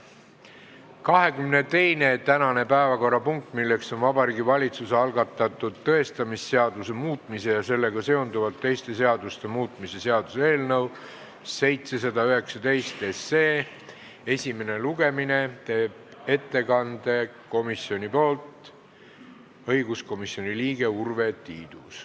Tänase 22. päevakorrapunkti arutelul, Vabariigi Valitsuse algatatud tõestamisseaduse muutmise ja sellega seonduvalt teiste seaduste muutmise seaduse eelnõu 719 esimesel lugemisel, teeb komisjoni ettekande õiguskomisjoni liige Urve Tiidus.